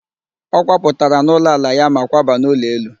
Ọ kwapụtara n'ụlọ ala ya ma kwaba n'ụlọ elu